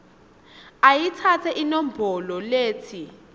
ayitsatse inombolo letsi